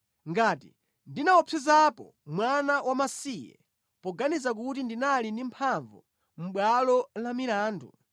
ngati ndinaopsezapo mwana wamasiye, poganiza kuti ndinali ndi mphamvu mʼbwalo la milandu,